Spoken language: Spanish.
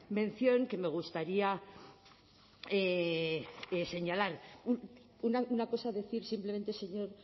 mención que me gustaría señalar una cosa decir simplemente señor